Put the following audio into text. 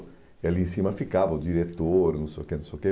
E ali em cima ficava o diretor, não sei o que, não sei o que.